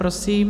Prosím.